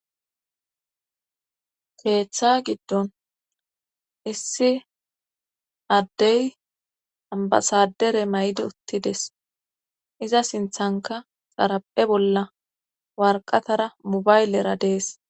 keeththa giddon issi addey ambasadere may7di uttides iza sinthanka xaraphe bolla warqatara mubaylera dees